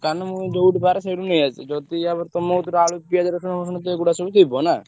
ଦୋକାନ ମୁଁ ଯୋଉଠି ପାରେ ସେଇଠୁ ନେଇଆସେ ଯଦି ଆ ପରେ ତମ କତିରେ ଆଳୁ ପିଆଜ ରସୁଣ ଫସୁଣ ତ ଏଗୁଡା ସବୁ ଥିବ ନା?